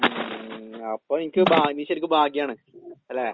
ഉം അപ്പോ എനിക്ക് ഭാ നീ ശെരിക്ക് ഭാഗ്യാണ്. അല്ലെ?